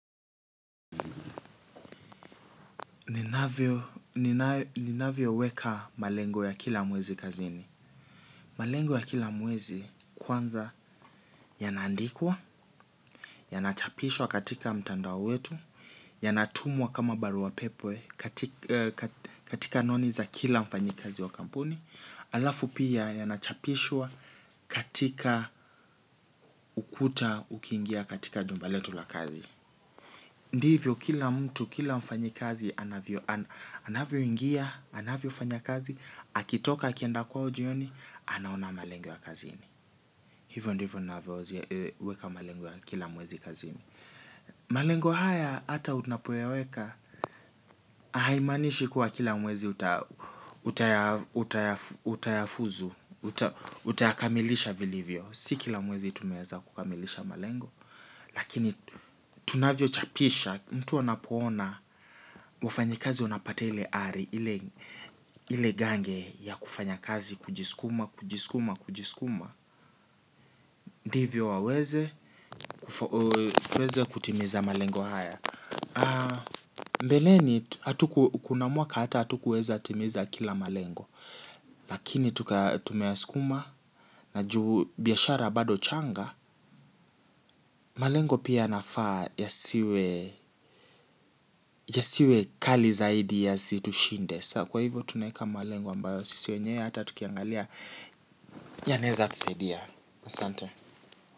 Ninavyo weka malengo ya kila mwezi kazini. Malengo ya kila mwezi kwanza yanaandikwa, yanachapishwa katika mtandao wetu. Yanatumwa kama barua pepe katika anwani za kila mfanyikazi wa kampuni halafu pia yanachapishwa katika ukuta ukiingia katika jumba letu la kazi. Ndivyo kila mtu kila mfanyikazi anavyoingia, anavyofanya kazi, akitoka akienda kwao jioni, anaona malengo ya kazini. Weka malengo ya kila mwezi kazini malengo haya hata unapoyaweka haimaanishi kuwa kila mwezi utayafuzu utayakamilisha vilivyo, si kila mwezi tumeweza kukamilisha malengo lakini tunavyo chapisha mtu anapoona wafanyikazi wanapate ile ari ile gange ya kufanya kazi kujisukuma, kujisukuma, kujisukuma ndivyo waweze tuweze kutimiza malengo haya. Mbeleni hatuku kuna mwaka hata hatukuweza timiza kila malengo. Lakini tumeya sukuma. Naju biashara bado changa. Malengo pia nafaa yasiwe ya siwe kali zaidi yasitushinde. Kwa hivyo tunaeka malengo ambayo sisi wenyewe hata tukiangalia. Yanaeza tusaidia Masante.